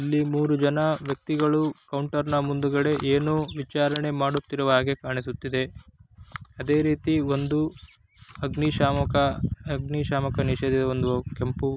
ಇಲ್ಲಿ ಮೂರು ಜನ ವ್ಯಕ್ತಿಗಳು ಕೌಂಟರ್ನ ಮುಂದುಗಡೆ ಏನು ವಿಚಾರಣೆ ಮಾಡುತ್ತಿರುವ ಹಾಗೆ ಕಾಣಿಸುತ್ತಿದೆ ಅದೇ ರೀತಿ ಒಂದು ಅಗ್ನಿಶಾಮಕ ಅಗ್ನಿಶಾಮಕ ನಿಷೇಧವೊಂದು ಕೆಂಪು --